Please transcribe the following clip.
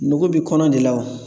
Nugu bi kɔnɔ de la wa